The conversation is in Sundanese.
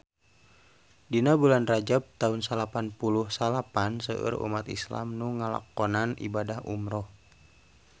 Dina bulan Rajab taun salapan puluh salapan seueur umat islam nu ngalakonan ibadah umrah